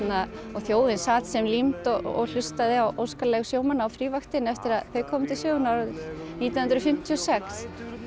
þjóðin sat sem límd og hlustaði á óskalög sjómanna á eftir að þau komu til sögunnar nítján hundruð fimmtíu og sex